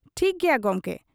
ᱴᱷᱤᱠ ᱜᱮᱭᱟ ᱜᱚᱢᱠᱮ ᱾